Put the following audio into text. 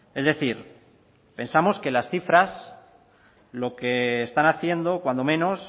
es decir pensamos que las cifras lo que están haciendo cuando menos